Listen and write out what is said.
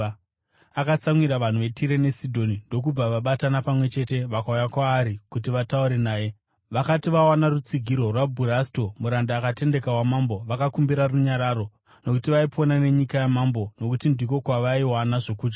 Akanga atsamwirana navanhu veTire neSidhoni, ndokubva vabatana pamwe chete vakauya kwaari kuti vataure naye. Vakati vawana rutsigiro rwaBhurasto, muranda akatendeka wamambo, vakakumbira runyararo, nokuti vaipona nenyika yamambo, nokuti ndiko kwavaiwana zvokudya.